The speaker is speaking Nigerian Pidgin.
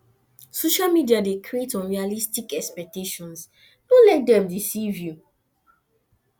social media dey create unrealistic expectations no let am deceive you